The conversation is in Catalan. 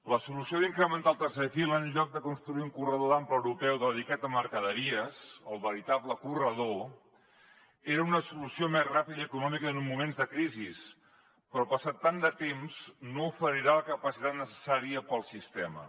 la solució d’incrementar el tercer fil en lloc de construir un corredor d’ample europeu dedicat a mercaderies el veritable corredor era una solució més ràpida i econòmica en uns moments de crisi però passat tant de temps no oferirà la capacitat necessària pel sistema